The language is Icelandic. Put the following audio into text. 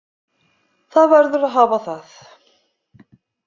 Það verður að hafa það.